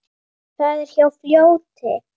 Það er hjá fljóti.